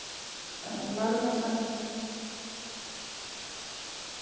Koti sat á fremstu þóftunni.